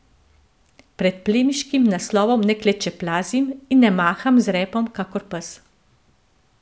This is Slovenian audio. Pred plemiškim naslovom ne klečeplazim in ne maham z repom kakor pes.